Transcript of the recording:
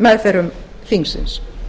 meðförum þingsins